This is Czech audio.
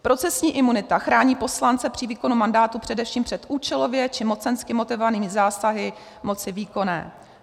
Procesní imunita chrání poslance při výkonu mandátu především před účelově či mocensky motivovanými zásahy moci výkonné.